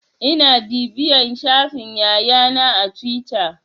Ina bibiyan shafin Yaya na a tuwita.